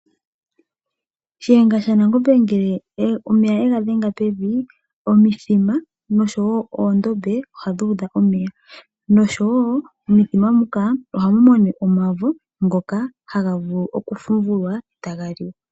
Shiyenga shaNangombe ngele omeya yega dhenga pevi, omithima nosho woo oondombe ohadhi udha omeya. Nosho woo momithima muka ohamu mene omavo ngoka haga vulu kufumvulwa etaga liwa.